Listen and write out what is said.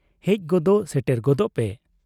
ᱦᱮᱡ ᱜᱚᱫ ᱥᱮᱴᱮᱨ ᱜᱚᱫᱚᱜ ᱯᱮ ᱾